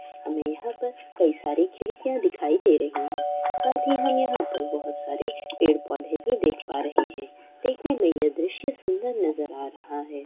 हमे यहाँ पर कई सारी खिड़कियाँ दिखाई दे रही है साथ ही हम यहाँ पर बहुत सारे पेड़-पौधे भी देख पा रहे है देखने में यह दृश्य सुन्दर नज़र आ रहा है।